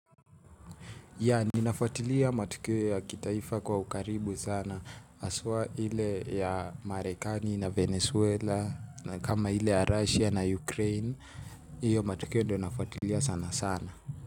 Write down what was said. Yeah ninafwatilia matukio ya kitaifa kwa ukaribu sana haswa ile ya marekani na venezuela na kama ile ya russia na ukraine. Iyo matukio ndio nafwatilia sana sana.